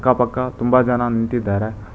ಅಕ್ಕ ಪಕ್ಕ ತುಂಬಾ ಜನ ನಿಂತಿದ್ದಾರೆ.